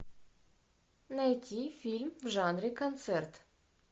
найти фильм в жанре концерт